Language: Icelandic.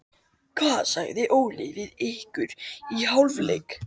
Hvað sagði Óli við ykkur í hálfleik?